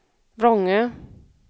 Vrångö